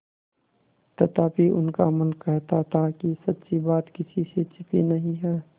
तथापि उनका मन कहता था कि सच्ची बात किसी से छिपी नहीं है